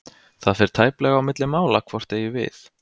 Það fer tæplega á milli mála hvort eigi við.